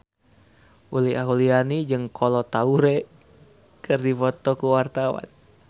Uli Auliani jeung Kolo Taure keur dipoto ku wartawan